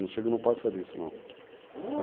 Não chega a não passar disso, não.